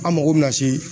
An mago bɛ na se